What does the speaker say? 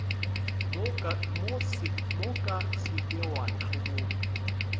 moka se ke wa ntlhoboga